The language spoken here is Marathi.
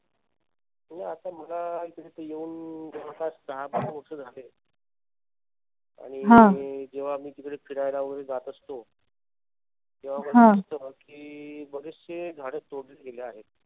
म्हणजे मला आता इथे येवून जवळपास दहा बारा वर्ष झालेत. आणि जेंव्हा मी तिकडे फिरायला वगैरे जात असतो. तेंव्हा मला दिसत कि बरेचशी झाडे तोडली गेली आहेत.